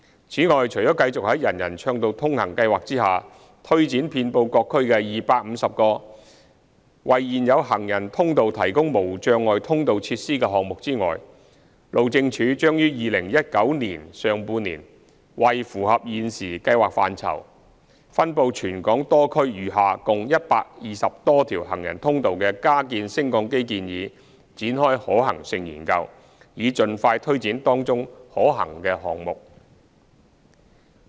此外，除了繼續在"人人暢道通行"計劃下推展遍布各區的250個為現有行人通道提供無障礙通道設施的項目外，路政署將於2019年上半年為符合現時計劃範疇、分布全港多區餘下共120多條行人通道的加建升降機建議展開可行性研究，以盡快推展當中可行的項目。